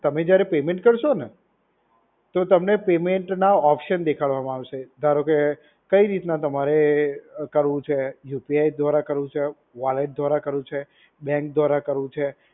તમે જ્યારે પેમેન્ટ કરશો ને, તો તમને પેમેન્ટના ઓપ્શન દેખાડવામાં આવશે. ધારો કે, કઈ રીતના તમારે એ કરવું છે. યુ પી આઈ દ્વારા કરવું છે, વૉલેટ દ્વારા કરવું છે, બેંક દ્વારા કરવું છે,